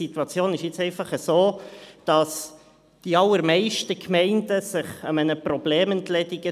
Die Situation ist jetzt einfach so, dass die allermeisten Gemeinden sich zulasten Gemeinde eines Problems entledigen.